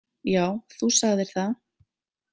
Já, þú sagðir það.